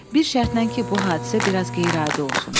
Bir şərtlə ki, bu hadisə bir az qeyri-adi olsun.